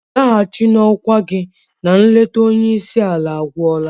Nlaghachi na okwá gi na nleta onye isi ala agwụla!.